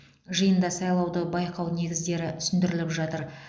жиында сайлауды байқау негіздері түсіндіріліп жатыр